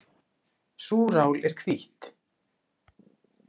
Súrál er hvítt.